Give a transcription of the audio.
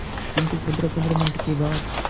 किंतु पंद्रहपंद्रह मिनट के बाद